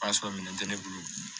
O y'a sɔrɔ minɛn tɛ ne bolo